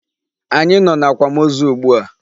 Anyị nọ n'akwamozu ugbua.